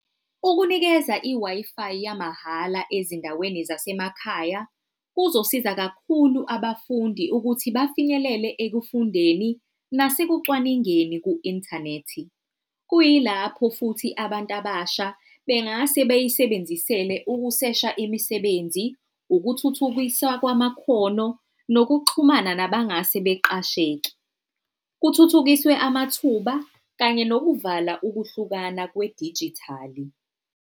Ukunikeza i-Wi-Fi yamahhala ezindaweni zasemakhaya kuzosiza kakhulu abafundi ukuthi bafinyelele ekufundeni nasekucwaningeni ku-inthanethi. Kuyilapho futhi abantu abasha bengase bayisebenzisele ukusesha imisebenzi, ukuthuthukiswa kwamakhono, nokuxhumana nabangase beqasheke. Kuthuthukiswe amathuba kanye nokuvala ukuhlukana kwedijithali.